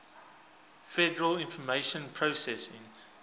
federal information processing